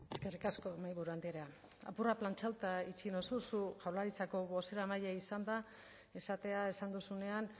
eskerrik asko mahaiburu andrea apur bat plantxatuta itxi nauzu zu jaurlaritzako bozeramailea izanda esatea esan duzunean